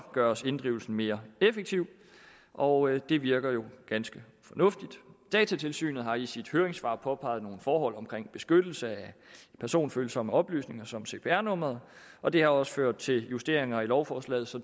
gøres inddrivelsen mere effektiv og det virker jo ganske fornuftigt datatilsynet har i sit høringssvar påpeget nogle forhold omkring beskyttelse af personfølsomme oplysninger som cpr numre og det har også ført til justeringer i lovforslaget så